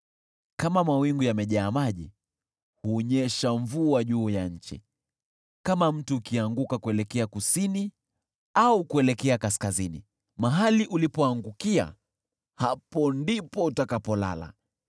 Kama mawingu yamejaa maji, hunyesha mvua juu ya nchi. Kama mti ukianguka kuelekea kusini au kuelekea kaskazini, mahali ulipoangukia, hapo ndipo utakapolala.